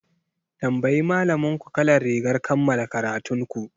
Tambayi malaminku kalar rigar kammala karatun ku!